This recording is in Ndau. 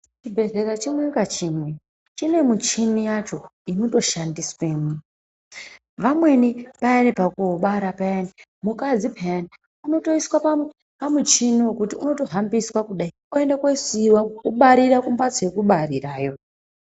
Chibhedhlera chimwe ngachimwe chine michini yacho inotoshandiswe mwo. Vamweni vayani pakuobara payani mukadzi peyani. Unotoiswa pamuchini wekuti utohambiswa kudai oenda koosiiwa obarira kumhatso yekubarirayo.